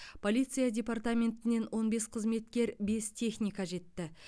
полиция департаментінен он бес қызметкер бес техника жетті